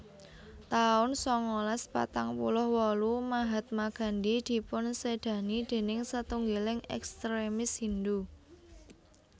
taun sangalas patang puluh wolu Mahatma Gandhi dipunsédani déning satunggiling ekstremis Hindhu